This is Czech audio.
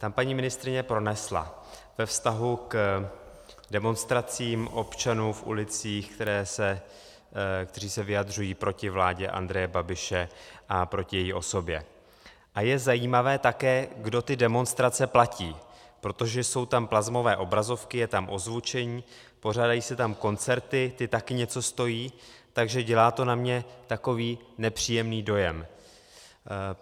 Tam paní ministryně pronesla ve vztahu k demonstracím občanů v ulicích, kteří se vyjadřují proti vládě Andreje Babiše a proti její osobě: A je zajímavé také, kdo ty demonstrace platí, protože jsou tam plazmové obrazovky, je tam ozvučení, pořádají se tam koncerty, ty taky něco stojí, takže dělá to na mě takový nepříjemný dojem.